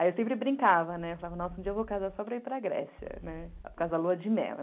Aí eu sempre brincava, né, falava, nossa, um dia eu vou casar só para ir para a Grécia, por causa da lua de mel.